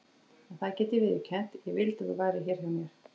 En það get ég viðurkennt: ég vildi að þú værir hér hjá mér.